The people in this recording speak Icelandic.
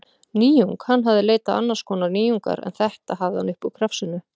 Nýjung: hann hafði leitað annars konar nýjungar, en þetta hafði hann upp úr krafsinu.